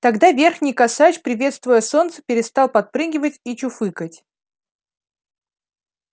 тогда верхний косач приветствуя солнце перестал подпрыгивать и чуфыкать